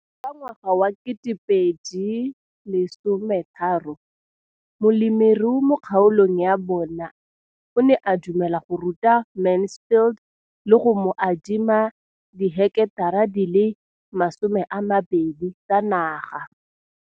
Ka ngwaga wa 2013, molemirui mo kgaolong ya bona o ne a dumela go ruta Mansfield le go mo adima di heketara di le 12 tsa naga.